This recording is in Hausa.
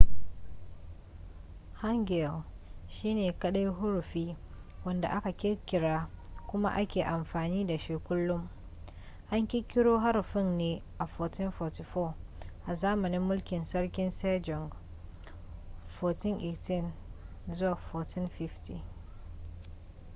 hangeul shine kadai huruffi wadda aka kirkira kuma ake amfani da shi kullum. an kirkiro haruffin ne a 1444 a zamanin mulkin sarki sejong 1418 - 1450